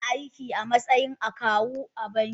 Tana aiki a matsayin akawu a banki